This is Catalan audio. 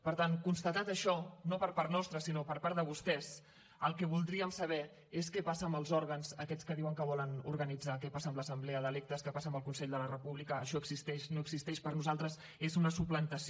per tant constatat això no per part nostra sinó per part de vostès el que voldríem saber és què passa amb els òrgans aquests que diuen que volen organitzar què passa amb l’assemblea d’electes què passa amb el consell de la república això existeix no existeix per nosaltres és una suplantació